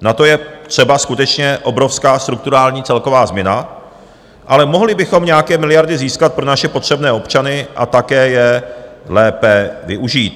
na to je třeba skutečně obrovská strukturální celková změna, ale mohli bychom nějaké miliardy získat pro naše potřebné občany a také je lépe využít.